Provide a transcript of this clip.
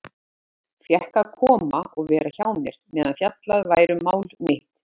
Einar Pétur fékk að koma og vera hjá mér meðan fjallað væri um mál mitt.